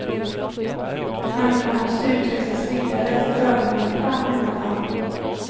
Människan måste utvecklas vidare till övermänniska, menade han.